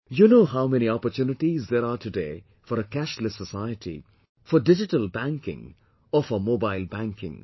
You know how many opportunities there are today for a cashless society, for digital banking or for mobile banking